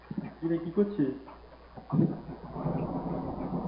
কি রে কি করছিস?